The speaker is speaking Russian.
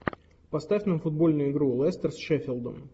поставь нам футбольную игру лестер с шеффилдом